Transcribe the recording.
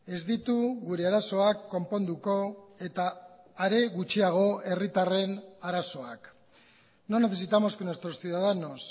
ez ditu gure arazoak konponduko eta are gutxiago herritarren arazoak no necesitamos que nuestros ciudadanos